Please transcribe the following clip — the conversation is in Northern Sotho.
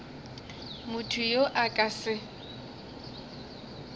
motho yo a ka se